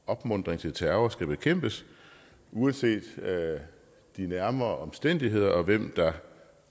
opmuntring til terror skal bekæmpes uanset de nærmere omstændigheder og uanset hvem der